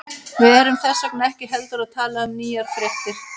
Við erum þess vegna ekki heldur að tala um nýjar fréttir.